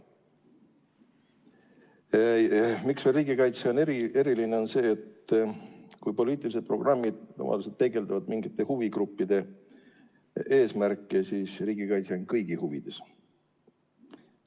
Põhjus, miks riigikaitse on eriline, on see, et erinevalt poliitilistest programmidest ja lubadustest, mis peegeldavad tavaliselt mingite huvigruppide eesmärke, on riigikaitse kõigi huvides.